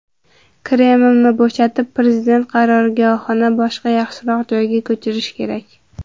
Kremlni bo‘shatib, prezident qarorgohini boshqa yaxshiroq joyga ko‘chirish kerak.